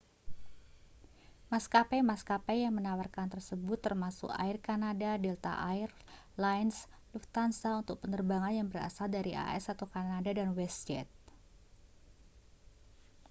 maskapai-maskapai yang menawarkan tersebut termasuk air canada delta air lines lufthansa untuk penerbangan yang berasal dari as atau kanada dan westjet